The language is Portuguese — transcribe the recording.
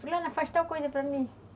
Fulano, faz tal coisa para mim.